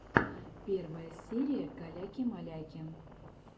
первая серия каляки маляки